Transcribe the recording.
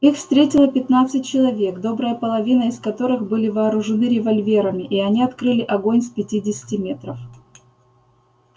их встретило пятнадцать человек добрая половина из которых были вооружены револьверами и они открыли огонь с пятидесяти метров